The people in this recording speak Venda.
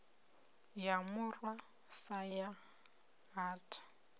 ya vhurwa sa yaho hatha